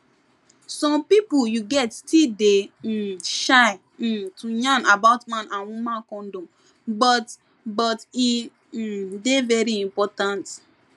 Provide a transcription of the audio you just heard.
some pipu you get still dey um shy um to yarn about man and woman condom but but e um dey very important